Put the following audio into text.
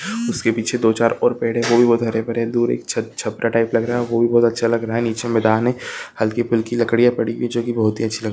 उस के पीछे दो चार और पेड़ है वो भी बहोत हरे-भरे दूर एक छत छपरा टाइप लग रहा है वो भी बोहत अच्छा लग रहा है नीचे मैदान है हल्की-फुल्की लकड़िया पड़ी हुई है जो कि बहुत अच्छी लग--